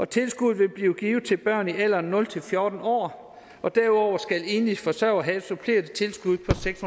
tilskuddet vil blive givet til børn i alderen nul fjorten år og derudover skal enlige forsørgere have et supplerende tilskud på seks